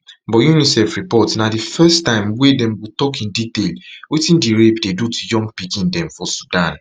but unicef report na di first time wey dem go tok in detail wetin di rape dey do to young pikin dem for sudan